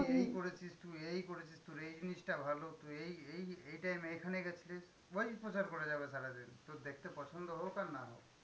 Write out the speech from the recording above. এই করেছিস তুই এই করেছিস, তোর এই জিনিসটা ভালো, তুই এই এই এই time এ এখানে গেছিলিস ওইই প্রচার করে যাবে সারাদিন। তোর দেখতে পছন্দ হোক আর না হোক।